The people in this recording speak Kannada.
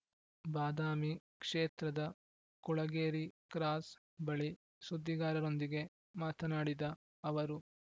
ಬಾದಾಮಿ ಕ್ಷೇತ್ರದ ಕುಳಗೇರಿ ಕ್ರಾಸ್ ಬಳಿ ಸುದ್ದಿಗಾರರೊಂದಿಗೆ ಮಾತನಾಡಿದ ಅವರು